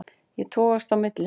Ég togast á milli.